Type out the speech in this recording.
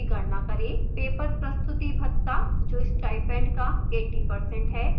paper प्रस्तुति भत्ता जो स्टाइपेंड का 80% है